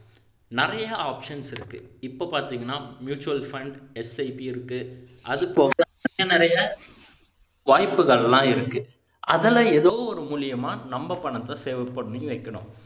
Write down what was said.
நிறைய options இருக்கு இப்போ பாத்தீங்கன்னா mutual funds SIP இருக்கு அதுபோக இன்னும் நிறைய வாய்ப்புகள் எல்லாம் இருக்கு அதுல எதோ ஒரு மூலமா நம்ம பணத்தை save பண்ணி வைக்கணும்